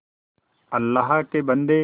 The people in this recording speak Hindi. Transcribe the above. अल्लाह के बन्दे